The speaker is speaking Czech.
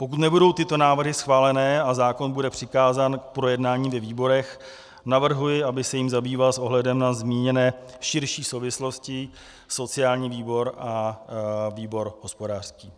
Pokud nebudou tyto návrhy schváleny a zákon bude přikázán k projednání ve výborech, navrhuji, aby se jím zabýval s ohledem na zmíněné širší souvislosti sociální výbor a výbor hospodářský.